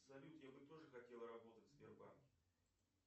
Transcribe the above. салют я бы тоже хотел работать в сбербанке